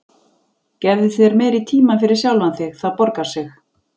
Gefðu þér meiri tíma fyrir sjálfan þig, það borgar sig.